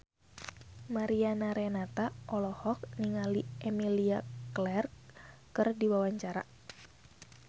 Mariana Renata olohok ningali Emilia Clarke keur diwawancara